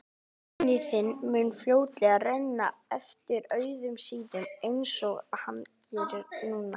Að penni þinn mun fljótlega renna eftir auðum síðum einsog hann gerir núna.